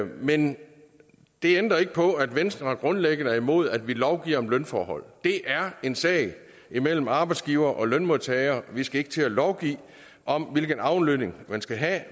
men det ændrer ikke på at venstre grundlæggende er imod at vi lovgiver om lønforhold det er en sag imellem arbejdsgivere og lønmodtagere vi skal ikke til at lovgive om hvilken aflønning man skal have